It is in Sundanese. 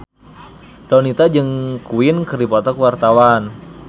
Donita jeung Queen keur dipoto ku wartawan